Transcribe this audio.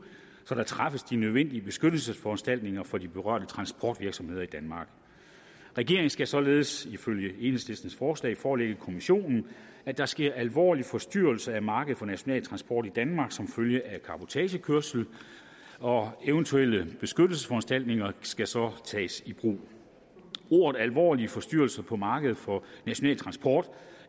så der træffes de nødvendige beskyttelsesforanstaltninger for de berørte transportvirksomheder i danmark regeringen skal således ifølge enhedslistens forslag forelægge kommissionen at der sker alvorlige forstyrrelser af markedet for national transport i danmark som følge af cabotagekørsel og eventuelle beskyttelsesforanstaltninger skal så tages i brug ordene alvorlige forstyrrelser på markedet for national transport